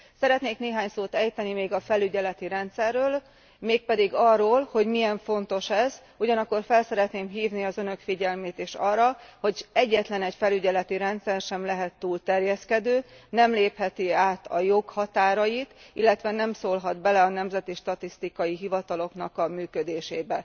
Szeretnék néhány szót ejteni még a felügyeleti rendszerről, mégpedig arról, hogy milyen fontos ez, ugyanakkor fel szeretném hívni az Önök figyelmét is arra, hogy egyetlenegy felügyeleti rendszer sem lehet túl terjeszkedő, nem lépheti át a jog határait, illetve nem szólhat bele a nemzeti statisztikai hivatalok működésébe.